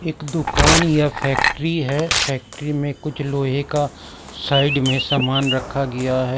एक दुकान या फैक्ट्री है फैक्ट्री में कुछ लोहे का साइड में सामान रखा गया है।